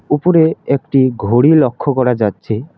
উপরে একটি ঘড়ি লক্ষ্য করা যাচ্ছে।